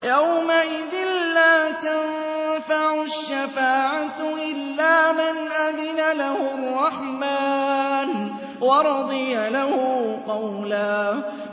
يَوْمَئِذٍ لَّا تَنفَعُ الشَّفَاعَةُ إِلَّا مَنْ أَذِنَ لَهُ الرَّحْمَٰنُ وَرَضِيَ لَهُ قَوْلًا